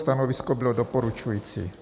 Stanovisko bylo doporučující.